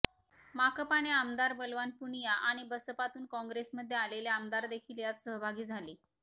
माकपाने आमदार बलवान पूनिया आणि बसपातून कॉंग्रेसमध्ये आलेले आमदार देखील यात सहभागी झाले